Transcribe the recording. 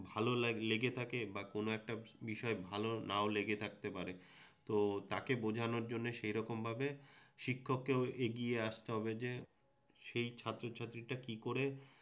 ভালো লেগে থাকে বা কোনও একটা বিষয় ভালো নাও লেগে থাকতে পারে তো তাকে বোঝানোর জন্য সেই রকমভাবে শিক্ষককেও এগিয়ে আসতে হবে যে সেই ছাত্রছাত্রীটা কিকরে